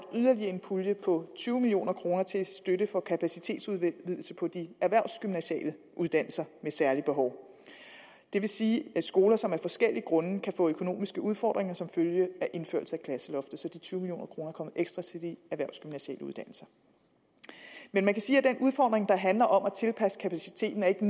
yderligere en pulje på tyve million kroner til støtte for kapacitetsudvidelse på de erhvervsgymnasiale uddannelser med særlige behov det vil sige skoler som af forskellige grunde kan få økonomiske udfordringer som følge af indførelse af klasseloftet så de tyve million kroner kommer ekstra til de erhvervsgymnasiale uddannelser man kan sige at den udfordring der handler om at tilpasse kapaciteten ikke